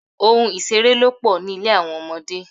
Ohun ìṣeré ló pò ní ilé àwọn ọmọdé.